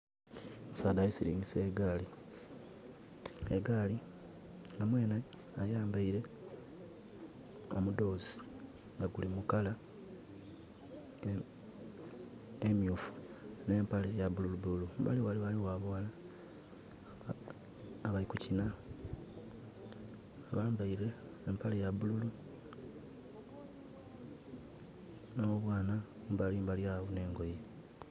Omusaadha ali silingisa egaali. Egaali...mwenhe ayambaile omudhoozi nga guli mu colour emyuufu, n'empale ya bululu bululu. Kumbali ghale ghaligho abaghala abali kukina bambaile empale ya bululu, n'obwana kumbali mbali agho, n'engoye.